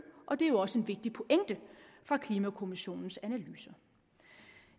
og det er jo også en vigtig pointe i klimakommissionens analyser